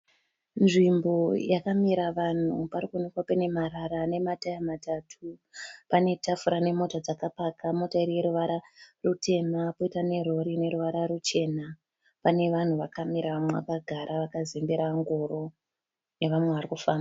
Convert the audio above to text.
Nzvimbo yakamira vanhu. Parikuonekwa paine marara nemataya matatu. Pane tafura nemota dzakapaka. Mota iri yeruvara rutema. Poita nerori ine ruvara ruchena. Panevanhu vakamira vamwe vakagara vakazembera ngoro. Vamwe vari kufamba.